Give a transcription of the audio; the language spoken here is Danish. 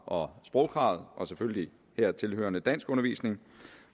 og sprogkravet og selvfølgelig hertil hørende danskundervisning